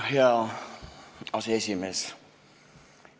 Hea aseesimees!